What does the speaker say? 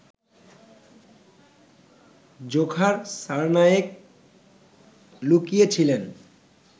Dzhokhar Tsarnaev লুকিয়ে ছিলেন